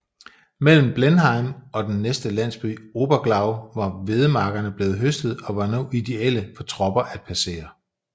Mellem Blenheim og den næste landsby Oberglau var hvedemarkerne blevet høstet og var nu ideelle for tropper at passere